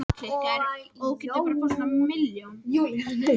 Bjórum hefur einnig verið sleppt í Danmörku og Svíþjóð og víðar.